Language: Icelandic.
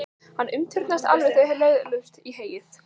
Hann umturnaðist alveg þegar við lögðumst í heyið.